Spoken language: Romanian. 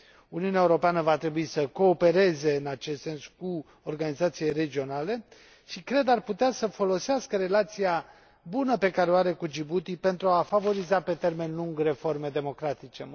Uniunea Europeană va trebui să coopereze în acest sens cu organizațiile regionale și, cred, ar putea să folosească relația bună pe care o are cu Djibouti pentru a favoriza, pe termen lung, reforme democratice.